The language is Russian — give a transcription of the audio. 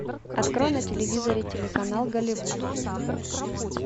открой на телевизоре телеканал голливуд